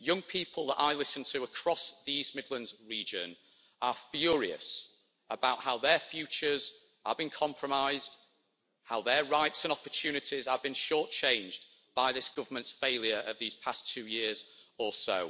Young people that I listen to across the East Midlands region are furious about how their futures are being compromised, how their rights and opportunities are being short changed by this government's failure of these past two years or so.